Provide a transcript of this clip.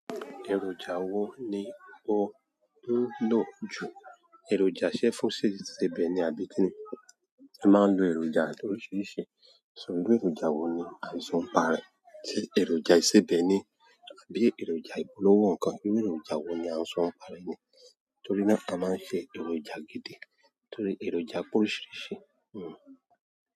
Èròjà wo ni won ń lò jù, èròjà séfùn sébè ni àbí kí ni? A máa ń lo èròjà loríṣiríṣi, ṣùgbọ́n èròjà wo ni aṣọ ń parí, ṣe èròjà ìsebẹ́ ni àbí èròjà ìpolówó nǹkan bíi èròjà wo ni aṣọ ń parí ni? Torí náà a máa ń ṣe èròjà gidi torí èròjà pe oriṣíríṣí.